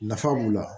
Nafa b'o la